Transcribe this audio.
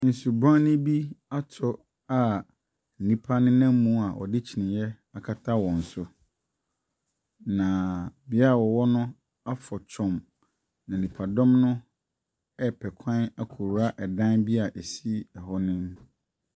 Nsubrane bi atɔ a nnipa nenam mu a wɔde kyiniiɛ akata wɔn so, na bea a wɔwɔ no afɔ twɔnn, na nnipadɔm no repɛ kwan akɔwura dan bi a ɛsi hɔ no mu.